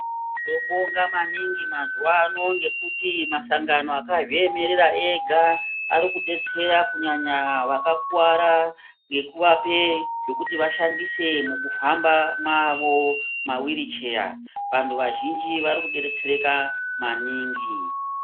Tinobonga maningi mazuva ano ngekuti masangano akazviemerera Ari kudetsera maningi Vakakuwara ngekuvapa zvekuti vashandise mukuhamba kwawo mawiri cheya vanhu vazhinji vari kudetsereka maningi.